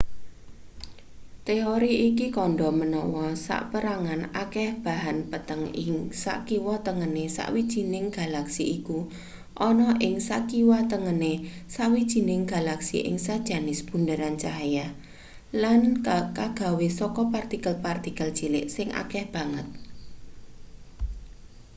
teori iki kandha menawa saperangan akeh bahan peteng ing sakiwa tengene sawijining galaksi iku ana ing sakiwatengene sawijining galaksi ing sejenis bunderan cahya lan kagawe saka partikel-partikel cilik sing akeh banget